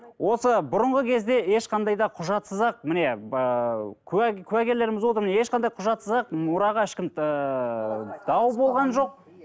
осы бұрынғы кезде ешқандай да құжатсыз ақ міне ыыы куә куәгерлеріміз отыр міне ешқандай құжатсыз ақ мұраға ешкім ыыы дау болған жоқ